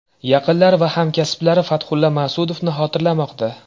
Yaqinlari va hamkasblari Fathulla Mas’udovni xotirlamoqda.